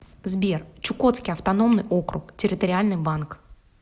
сбер чукотский автономный округ территориальный банк